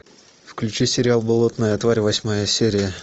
включи сериал болотная тварь восьмая серия